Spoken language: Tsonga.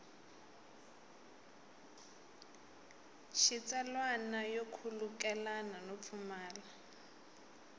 xitsalwana yo khulukelana no pfumala